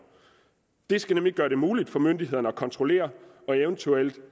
det skal nemlig gøre det muligt for myndighederne at kontrollere og eventuelt